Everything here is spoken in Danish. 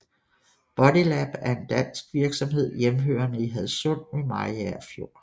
Bodylab er en dansk virksomhed hjemhørende i Hadsund ved Mariager Fjord